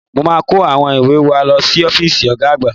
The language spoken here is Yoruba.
Mo máa kó àwọn ìwé wa lọ sí ọ́fíìsì Ọ̀ga àgbà